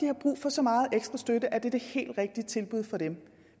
har brug for så meget ekstra støtte at det er det helt rigtige tilbud for dem